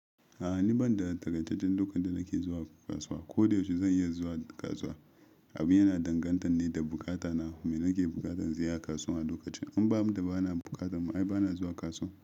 A'a ni ban da takaitaccen lokacin da nake zuwa kasuwa. Ko da yaushe zan iya zuwa kasuwa. Abu yana danganta ne da bukata na. Mai nake bukatan zuwa kasuwa a lokacin. In bamu da bana bukatan ma ai bana zuwa kasuwa.